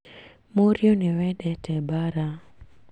Mũrĩũ nĩ wendete mbara